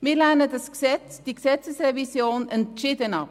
Wir lehnen diese Gesetzesrevision entschieden ab.